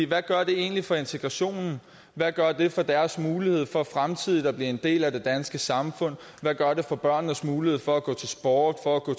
hvad gør det egentlig for integrationen hvad gør det for deres mulighed for fremtidigt at blive en del af det danske samfund hvad gør det for børnenes mulighed for at gå til sport for at gå